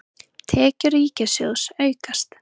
Tekjur ríkissjóðs aukast